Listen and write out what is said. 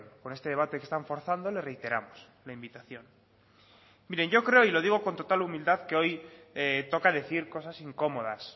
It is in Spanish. con este debate que están forzando le reiteramos la invitación mire yo creo y lo digo con total humildad que hoy toca decir cosas incomodas